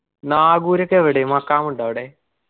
നാഗൂരൊക്കെ എവിടേ മഖാമുണ്ടോ അവിടെ?